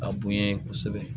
A bonya ye kosɛbɛ